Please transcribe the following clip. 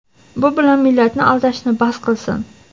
bu bilan millatni aldashni bas qilsin.